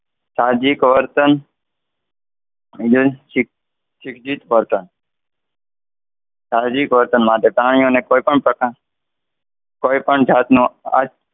સામાજિક વર્તન સામાજિક વર્તન માટે પ્રાણીઓને કોઈ પણ પ્રકાર કોઈપણ જાતનું,